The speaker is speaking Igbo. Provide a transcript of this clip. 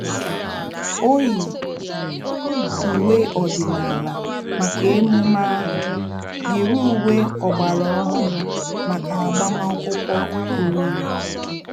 O yi uwe ọdịnala maka emume ahu, yiri uwe ọgbara ọhụrụ maka agbamakwụkwọ oriri